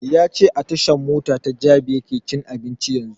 Ya ce a tashan mota ta jabi yake cin abinci yanzun